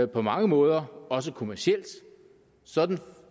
på mange måder også kommercielt og sådan